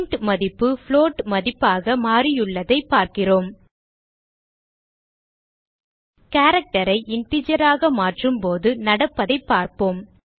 int மதிப்பு float மதிப்பாக மாறியுள்ளதை பார்க்கிறோம் character ஐ integer ஆக மாற்றும்போது நடப்பதைப் பார்ப்போம்